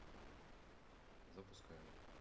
запускаю